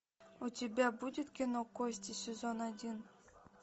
у тебя будет кино кости сезон один